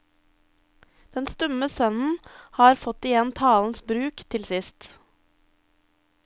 Den stumme sønnen har fått igjen talens bruk til sist.